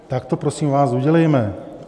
Tak to prosím vás udělejme.